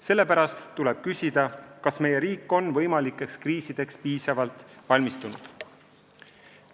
Sellepärast tuleb küsida, kas meie riik on võimalikeks kriisideks piisavalt valmistunud.